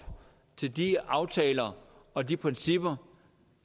til de aftaler og de principper